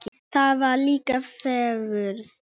Þarna var líka fegurð.